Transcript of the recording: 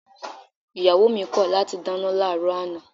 Ìyàwó mi kọ̀ láti dáná láàárọ̀ àná